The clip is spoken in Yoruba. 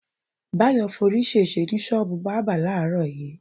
Báyò̩ forí s̩ès̩e ní s̩ó̩ò̩bù bábà láàárò̩ yìí.